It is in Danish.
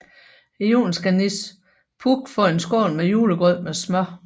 I julen skal Nis Puk få en skål med julegrød med smør